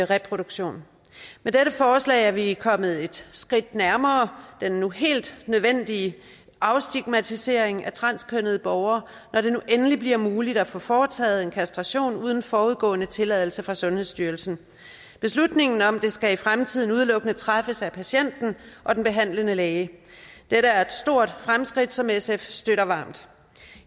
reproduktion med dette forslag er vi kommet et skridt nærmere den nu helt nødvendige afstigmatisering af transkønnede borgere når det nu endelig bliver muligt at få foretaget en kastration uden forudgående tilladelse fra sundhedsstyrelsen beslutningen om det skal i fremtiden udelukkende træffes at patienten og den behandlende læge dette er et stort fremskridt som sf støtter varmt